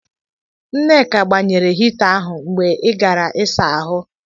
Nneka gbanyere hita ahụ mgbe ị gara ịsa ahụ.